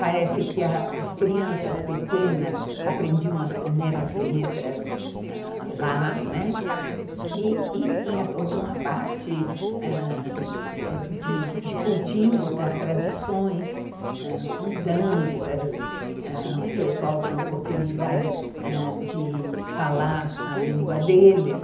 Parece que as crianças pequenas aprendiam as primeiras letras ãh lá e tinha toda uma parte ãh de cultivo das tradições, ãh com danças, ãh o pessoal tinha oportunidade de ãh falar a língua deles.